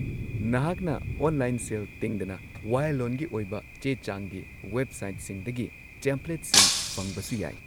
ꯅꯍꯥꯛꯅ online sale ꯇꯤꯡꯗꯅ ꯋꯥꯌꯦꯜꯂꯣꯟꯒꯤ ꯑꯣꯏꯕ ꯆꯦ ꯆꯥꯡꯒꯤ ꯋꯦꯕꯁꯥꯏꯠꯁꯤꯡꯗꯒꯤ ꯇꯦꯝꯄ꯭ꯂꯦꯠꯁꯤꯡ ꯐꯪꯕꯁꯨ ꯌꯥꯏ